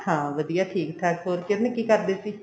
ਹਾਂ ਵਧੀਆ ਠੀਕ ਠਾਕ ਹੋਰ ਕਿਰਨ ਕੀ ਕਰਦੇ ਸੀ